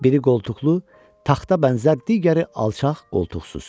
Biri qoltuqlu, taxta bənzər, digəri alçaq, qoltuqsuz.